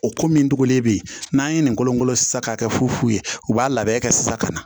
O ko min dɔgɔnin bɛ yen n'an ye nin kolo kolo sisan k'a kɛ fu ye u b'a labɛn kɛ sisan ka na